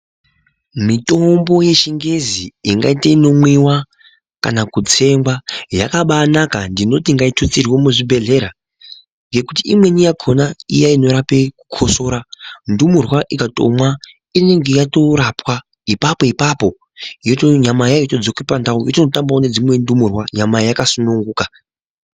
Mitombo yechingezi ingaite inomwiwa kana kutsengwa yakabanaka ndinoti ngaitutsirwe muzvibhedhlera ngekuti imweni yakhona iya inorape kukosora, ndumurwa ikatomwa inenge yatorapwa ipapo ipapo nyama yayo yotodzoka pandau yototamba nedzimwe ndumurwa nyama yakasununguka.